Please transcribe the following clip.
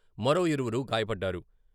మరో ఇరువురు గాయపడ్డారు.